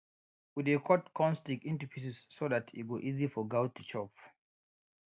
we dey cut corn stick into pieces so dat e go easy for goat to chop